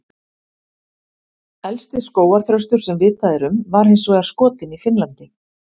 Elsti skógarþröstur sem vitað er um var hins vegar skotinn í Finnlandi.